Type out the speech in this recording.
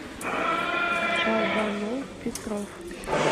шалбанул петров